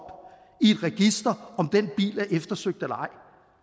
i et register om den bil er eftersøgt eller ej